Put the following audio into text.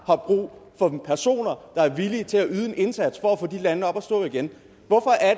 har brug for personer der er villige til at yde en indsats for at få de lande op at stå igen hvorfor er